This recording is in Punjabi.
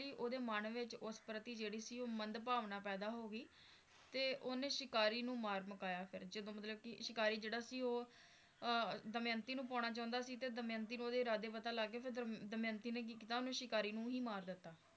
ਹੀ ਉਹਦੇ ਮਨ ਵਿੱਚ ਉਸ ਪ੍ਰਤੀ ਜਿਹੜੀ ਸੀ ਮੰਦ ਭਾਵਨਾ ਪੈਦਾ ਹੋ ਗਈ ਤੇ ਉਹਨੇਂ ਸ਼ਿਕਾਰੀ ਨੂੰ ਮਾਰ ਮੁਕਾਇਆ ਫੇਰ ਜਦੋਂ ਮਤਲਬ ਕਿ ਸ਼ਿਕਾਰੀ ਜਿਹੜਾ ਸੀ ਓਹੋ ਅਹ ਦਮਯੰਤੀ ਨੂੰ ਪਾਉਣਾ ਚਾਹੁੰਦਾ ਸੀ ਤੇ ਦਮਯੰਤੀ ਨੂੰ ਓਹਦੇ ਇਰਾਦੇ ਪਤਾ ਲੱਗ ਗਏ ਫੇਰ ਦਮਯੰਤੀ ਨੇ ਕੀ ਕੀਤਾ ਓਹਨੂੰ ਸ਼ਿਕਾਰੀ ਨੂੰ ਹੀ ਮਾਰ ਦਿੱਤਾ